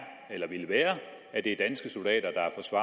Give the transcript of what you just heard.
vil være at det er danske soldater